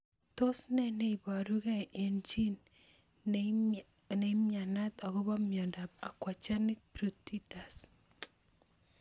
Tos nee neiparukei eng' chii neimianyi akopo miondop aquagenic pruritus